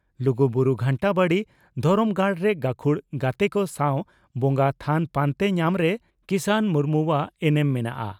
ᱞᱩᱜᱩᱵᱩᱨᱩ ᱜᱷᱟᱱᱴᱟᱵᱟᱲᱤ ᱫᱷᱚᱨᱚᱢ ᱜᱟᱲᱨᱮ ᱜᱟᱹᱠᱷᱩᱲ ᱜᱟᱛᱮ ᱠᱚ ᱥᱟᱣ ᱵᱚᱸᱜᱟ ᱛᱷᱟᱱ ᱯᱟᱱᱛᱮ ᱧᱟᱢᱨᱮ ᱠᱤᱥᱟᱱ ᱢᱩᱨᱢᱩᱣᱟᱜ ᱮᱱᱮᱢ ᱢᱮᱱᱟᱜᱼᱟ ᱾